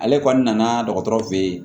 Ale kɔni nana dɔgɔtɔrɔ fe ye